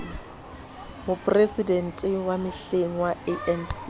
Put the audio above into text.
moporesidente wa mehleng wa anc